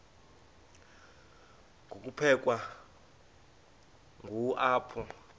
ngokuphelekwa ngu apho